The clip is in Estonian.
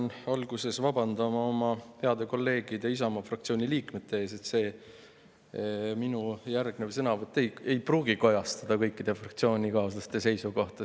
Ma pean alguses vabandama oma heade kolleegide ees Isamaa fraktsioonist, sest minu järgnev sõnavõtt ei pruugi kajastada kõikide fraktsioonikaaslaste seisukohti.